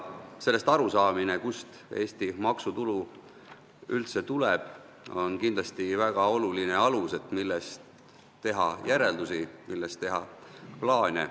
Sellest arusaamine, kust Eesti maksutulu üldse tuleb, on kindlasti väga oluline, selleks et teha järeldusi ja plaane.